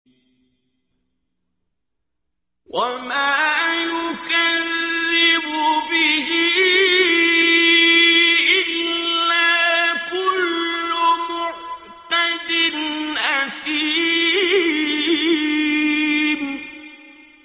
وَمَا يُكَذِّبُ بِهِ إِلَّا كُلُّ مُعْتَدٍ أَثِيمٍ